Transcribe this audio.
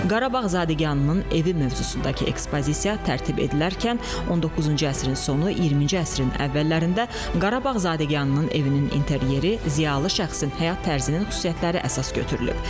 Qarabağ zadəganının evi mövzusundakı ekspozisiya tərtib edilərkən 19-cu əsrin sonu, 20-ci əsrin əvvəllərində Qarabağ zadəganının evinin interyeri, ziyalı şəxsin həyat tərzinin xüsusiyyətləri əsas götürülüb.